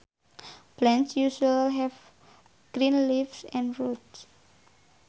Plants usually have green leaves and roots